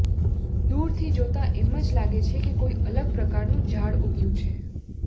દૂરથી જોતાં એમ જ લાગે છે કે કોઈ અલગ પ્રકારનું ઝાડ ઊગ્યું છે